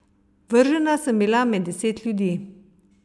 Vržena sem bila med deset ljudi.